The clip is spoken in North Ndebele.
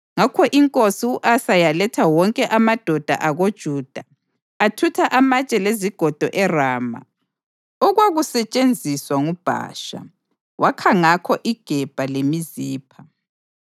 Ngakho inkosi u-Asa yaletha wonke amadoda akoJuda athutha amatshe lezigodo eRama okwakusetshenziswa nguBhasha. Wakha ngakho iGebha leMizipha.